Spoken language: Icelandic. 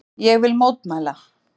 Ég vil mótmæla.